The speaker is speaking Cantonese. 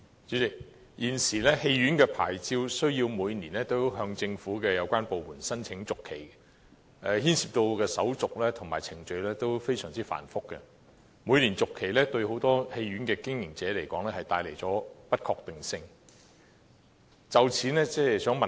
主席，關於電影院牌照，現時每年均須向政府有關部門申請續期，所涉的手續和程序均非常繁複，很多電影院經營者也認為，每年續期帶有不確定性。